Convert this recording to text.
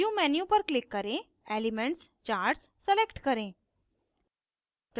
view menu पर click करें elements charts select करें